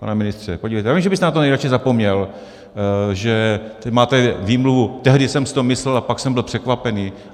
Pane ministře, podívejte, já vím, že byste na to nejradši zapomněl, že máte výmluvu - tehdy jsem si to myslel a pak jsem byl překvapený.